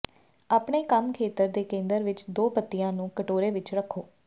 ਆਪਣੇ ਕੰਮ ਖੇਤਰ ਦੇ ਕੇਂਦਰ ਵਿੱਚ ਦੋ ਪੱਤੀਆਂ ਨੂੰ ਕਟੋਰੇ ਵਿੱਚ ਰੱਖੋ